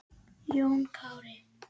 Jón Kári.